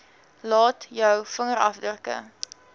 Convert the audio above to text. laat jou vingerafdrukke